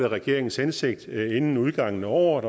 regeringens hensigt er inden udgangen af året